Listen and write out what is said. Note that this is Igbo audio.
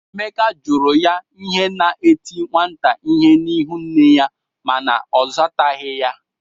Emeka jụrụ ya ihe na-eti nwata ihe n'ịhụ nne ya mana ọ zataghị ya.